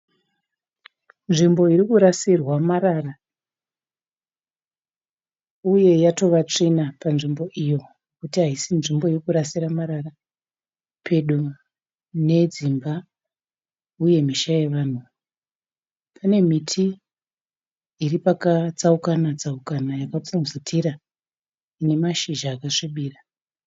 Nzvimbo irikurasirwa marara. Uye yatova tsvina panzvimbo iyo nekuti haisi nzvimbo yekurasira marara. Pedo nedzimba uye misha yevanhu, pane muti iri pakatsaukatsauka yakapfubvutira ine mashizha akasvibira.